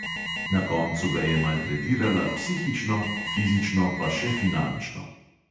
Na koncu ga je maltretirala psihično, fizično pa še finančno.